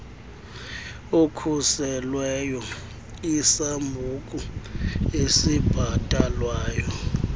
okhuselweyo isambuku esibhatalwayo